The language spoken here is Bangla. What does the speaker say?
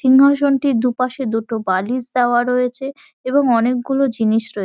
'' সিংহাসনটির দু''''পাশে দুটো বালিশ দেওয়া রয়েছে এবং অনেকগুলো জিনিস রয়ে-- ''